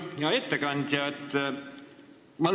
Hea ettekandja!